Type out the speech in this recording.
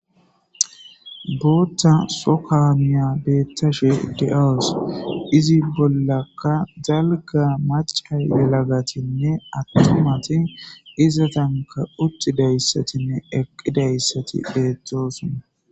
bootta so kaamiya beettashe de7awus izi bollaka zalga maca yelagatinne attomati izatanka uttidayssatinne eqqidayssati beettosona